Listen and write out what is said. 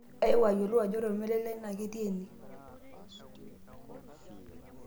aewuo ayiolou ajo ore olmarei lai naa ketii ene